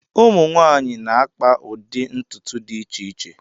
Ụmụ nwanyị na-akpa ụdị ntutu dị iche iche.